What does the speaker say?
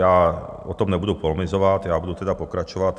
Já o tom nebudu polemizovat, já budu tedy pokračovat.